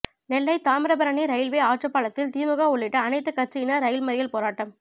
நெல்லை Thamirabarani railway ஆற்றுபாலத்தில் திமுக உள்ளிட்ட அனைத்து கட்சியினர் ரயில் மறியல் போராட்டம்